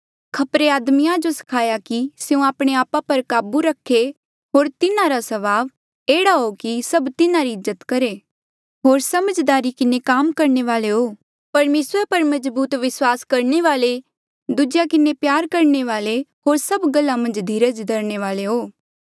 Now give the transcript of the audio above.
खपरे आदमिया जो सखाया कि स्यों आपणे आपा पर काबू रखे होर तिन्हारा स्वभाव एह्ड़ा हो कि सब तिन्हारी इज्जत करहे होर समझदारी किन्हें काम करणे वाले हो परमेसरा पर मजबूत विस्वास करणे वाले दूजेया किन्हें सच्चा प्यार करणे वाले होर सभ गल्ला मन्झ धीरज रखणे वाले हो